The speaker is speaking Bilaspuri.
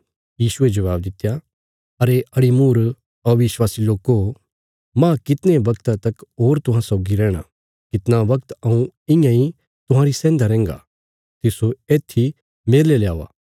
यीशुये जबाब दित्या अड़ीमूर कने अविश्वासी लोको माह कितणे बगता तक होर तुहां सौगी रैहणा कितना बगत हऊँ इयां इ तुहांरी सैहन्दा रैहन्गा तिस्सो येत्थी मेरले ल्यावा